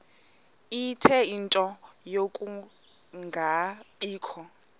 ie nto yokungabikho